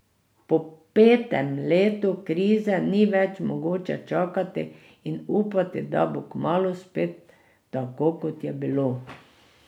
Po petem letu krize ni več mogoče čakati in upati, da bo kmalu spet tako, kot je bilo.